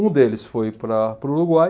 Um deles foi para para o Uruguai.